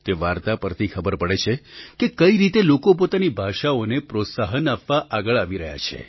તે વાર્તા પરથી ખબર પડે છે કે કઈ રીતે લોકો પોતાની ભાષાઓને પ્રોત્સાહન આપવા આગળ આવી રહ્યા છે